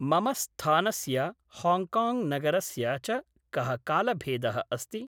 मम स्थानस्य हाङ्काङ्ग् नगरस्य च कः कालभेदः अस्ति?